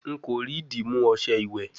Nko ri dimu ọṣẹ iwẹ